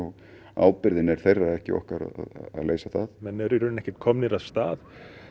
ábyrgðin er þeirra en ekki okkar að leysa það menn eru ekkert komnir af stað